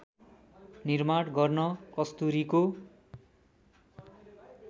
निर्माण गर्न कस्तुरीको